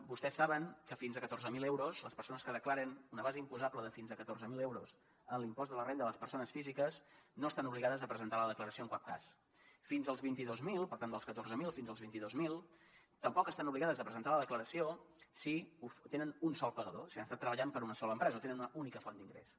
vostès saben que fins a catorze mil euros les persones que declaren una base imposable de fins a catorze mil euros en l’impost de la renda de les persones físiques no estan obligades a presentar la declaració en cap cas fins als vint dos mil per tant dels catorze mil fins als vint dos mil tampoc estan obligades a presentar la declaració si tenen un sol pagador si han estat treballant per una sola empresa o tenen una única font d’ingressos